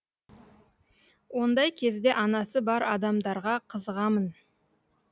ондай кезде анасы бар адамдарға қызығамын